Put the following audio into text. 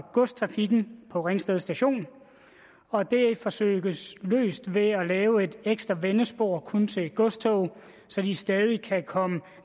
godstrafikken på ringsted station og det forsøges løst ved at lave et ekstra vendespor kun til godstog så de stadig kan komme